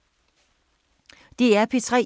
DR P3